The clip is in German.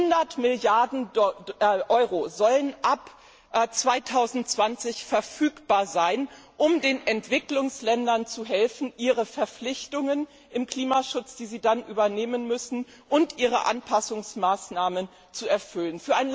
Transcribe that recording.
100 Milliarden Euro sollen ab 2020 verfügbar sein, um den Entwicklungsländern zu helfen, ihre Verpflichtungen im Klimaschutz, die sie dann übernehmen müssen, und ihre Anpassungsmaßnahmen zu erfüllen.